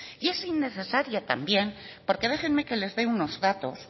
y es innecesaria también porque déjenme que les dé unos datos